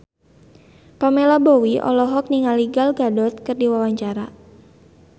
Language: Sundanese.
Pamela Bowie olohok ningali Gal Gadot keur diwawancara